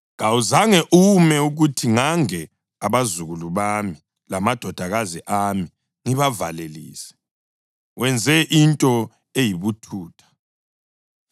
Kawuzange ume ukuthi ngange abazukulu bami lamadodakazi ami ngibavalelise. Wenze into eyibuthutha.